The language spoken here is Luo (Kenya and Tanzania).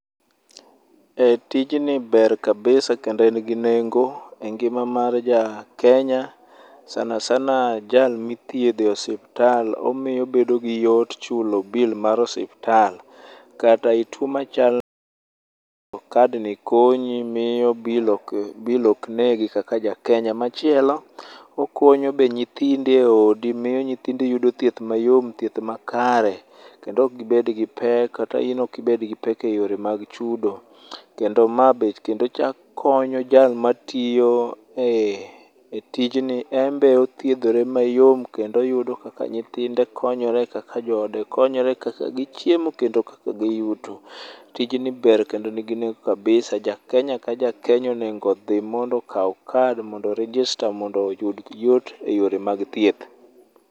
Tijni ber kabisa kendo en ginengo engima mar jakenya, sana sana jal mithiedho e osiptal. Omiyo obedo giyot chulo bill mar osiptal. Kata ituo macha nadi to kad ni konyi miyo bill ok negi kaka jakenya machielo. Okonyo bende nyithindi eodi miyo nyithindi yudo thieth mayom, thieth makare kendo ok gibed gi pek, kata in ok ibed gipek eyore mag chudo. Kendo ma be kendo chak konyo jal matiyo e tijni en be othiedhore mayom kendo oyudo kaka nyithinde konyore, kaka joode konyore, kaka gichiemo kendo kaka giyuto. Tijni ber kendo nigi nengo kabisa. Ja Kenya ka ja Kenya onego odhi mondo okaw kadi mondo o register mondo oyud yot eyore mag thieth.